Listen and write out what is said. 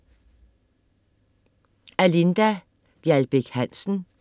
Af Linda Gjaldbæk Hansen